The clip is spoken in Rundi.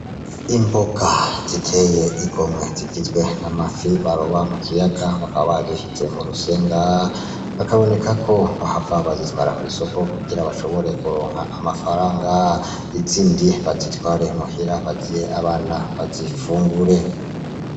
Imboga ziteye igomwe zigizwe na mafi baroba mu kiyaga bakaba bazishitse mu rusenga bakaboneka ko bahafa bazitwara kw'isoko kugira bashoboree kuronka amafaranga izindi bazitware muhira baziye abana bazifungure.